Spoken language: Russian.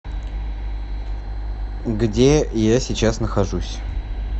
где я сейчас нахожусь